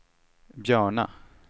Björna